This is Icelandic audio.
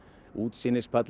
útsýnispallur